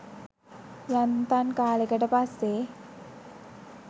යන්තන් කාලෙකට පස්සේ